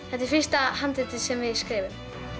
þetta er fyrsta handriti sem við skrifum